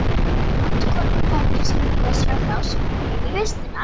Starfskonum í fangelsinu blöskraði frásögn mín um vistina í